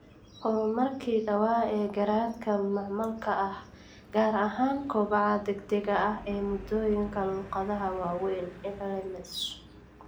Horumarkii dhawaa ee garaadka macmalka ah, gaar ahaan kobaca degdega ah ee moodooyinka luqadaha waaweyn (LLMs).